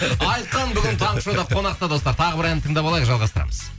айқын бүгін таңғы шоуда қонақта достар тағы бір ән тыңдап алайық жалғастырамыз